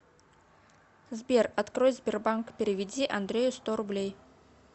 сбер открой сбербанк переведи андрею сто рублей